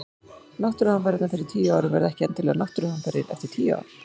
Náttúruhamfarir fyrir tíu árum verða ekki endilega náttúruhamfarir eftir tíu ár.